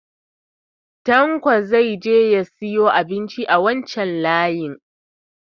Tanko zai je ya siyo abinci a wancan layi